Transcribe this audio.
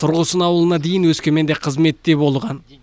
тұрғысын ауылына дейін өскеменде қызметте болған